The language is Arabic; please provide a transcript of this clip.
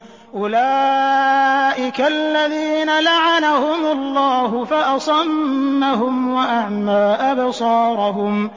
أُولَٰئِكَ الَّذِينَ لَعَنَهُمُ اللَّهُ فَأَصَمَّهُمْ وَأَعْمَىٰ أَبْصَارَهُمْ